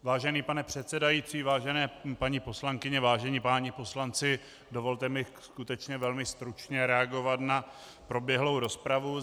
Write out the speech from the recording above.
Vážený pane předsedající, vážené paní poslankyně, vážení páni poslanci, dovolte mi skutečně velmi stručně reagovat na proběhlou rozpravu.